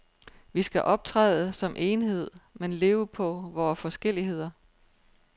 Vi skal optræde som enhed, men leve på vore forskelligheder.